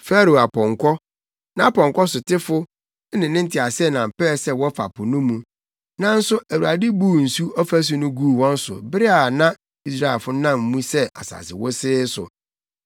Farao apɔnkɔ, nʼapɔnkɔkafo ne ne nteaseɛnam pɛɛ sɛ wɔfa po no mu; nanso Awurade buu nsu afasu no guu wɔn so bere a na Israelfo no nam mu sɛ asase wosee so.